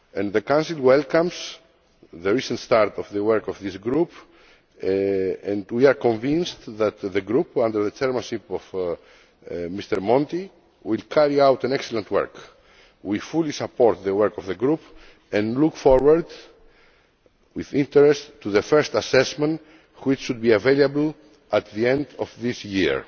The Council welcomes the recent start of the work of this group and we are convinced that the group, under the chairmanship of MrMonti, will carry out excellent work. We fully support the work of the group and look forward with interest to the first assessment which should be available at the end of this year.